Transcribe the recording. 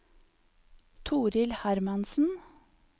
Torill Hermansen